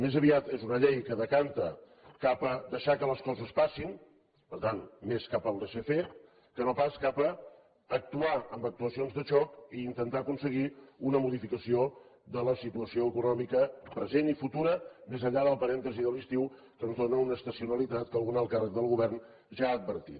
més aviat és una llei que es decanta cap a deixar que les coses passin per tant més cap al laissez fairea actuar amb actuacions de xoc i intentar aconseguir una modificació de la situació econòmica present i futura més enllà del parèntesi de l’estiu que ens dóna una estacionalitat que algun alt càrrec del govern ja ha advertit